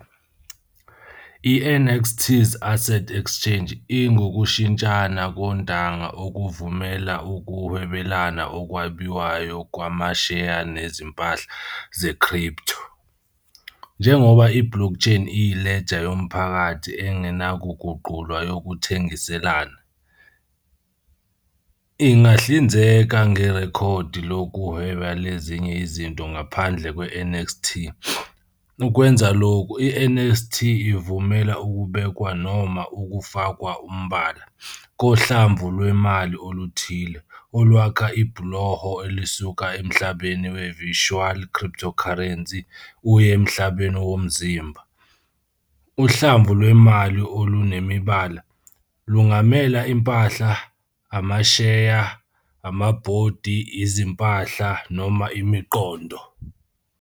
I-NXT's Asset Exchange ingukushintshana kontanga okuvumela ukuhwebelana okwabiwayo kwamasheya nezimpahla ze-crypto. Njengoba i-blockchain iyi-ledger yomphakathi engenakuguqulwa yokuthengiselana, ingahlinzeka ngerekhodi lokuhweba lezinye izinto ngaphandle kwe-NXT. Ukwenza lokhu, i-NXT ivumela ukubekwa noma "ukufakwa umbala" kohlamvu lwemali oluthile, olwakha ibhuloho elisuka emhlabeni we-virtual cryptocurrency uye emhlabeni womzimba. "Uhlamvu lwemali olunemibala" lungamela impahla, amasheya, amabhondi, izimpahla, noma imiqondo.